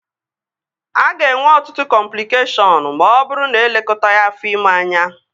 A ga-enwe ọtụtụ cọmplịkeshọnụ ma ọ bụrụ na-elekọtaghi afọ ime anya